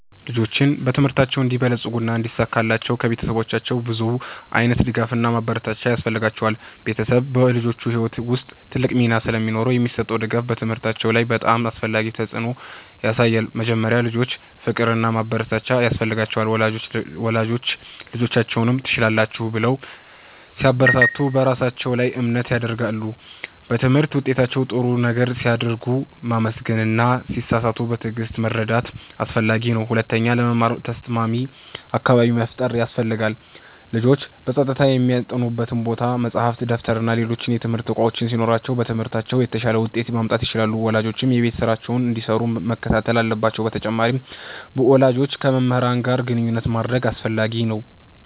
ልጆች በትምህርታቸው እንዲበለጽጉና እንዲሳካላቸው ከቤተሰቦቻቸው ብዙ ዓይነት ድጋፍና ማበረታቻ ያስፈልጋቸዋል። ቤተሰብ በልጆች ሕይወት ውስጥ ትልቅ ሚና ስለሚኖረው የሚሰጠው ድጋፍ በትምህርታቸው ላይ በጣም አስፈላጊ ተፅዕኖ ያሳያል። መጀመሪያ፣ ልጆች ፍቅርና ማበረታቻ ያስፈልጋቸዋል። ወላጆች ልጆቻቸውን “ትችላላችሁ” ብለው ሲያበረታቱ በራሳቸው ላይ እምነት ያድጋሉ። በትምህርት ውጤታቸው ጥሩ ነገር ሲያደርጉ ማመስገን እና ሲሳሳቱም በትዕግሥት መርዳት አስፈላጊ ነው። ሁለተኛ፣ ለመማር ተስማሚ አካባቢ መፍጠር ያስፈልጋል። ልጆች በጸጥታ የሚያጠኑበት ቦታ፣ መጻሕፍት፣ ደብተርና ሌሎች የትምህርት እቃዎች ሲኖሯቸው በትምህርታቸው የተሻለ ውጤት ማምጣት ይችላሉ። ወላጆችም የቤት ስራቸውን እንዲሰሩ መከታተል አለባቸው በተጨማሪም፣ ወላጆች ከመምህራን ጋር ግንኙነት ማድረግ አስፈላጊ ነው።